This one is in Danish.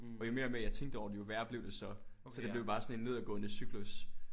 Og jo mere og mere jeg tænkte over det jo værre blev det så. Så det blev bare sådan en nedadgående cyklus